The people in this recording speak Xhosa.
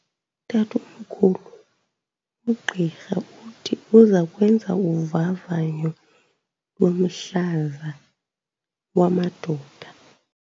Tatomkhulu, ugqirha uthi uza kwenza uvavanyo lomhlaza wamadoda.